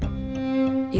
í